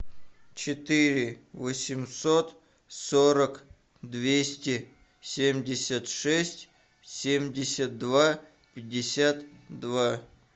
четыре восемьсот сорок двести семьдесят шесть семьдесят два пятьдесят два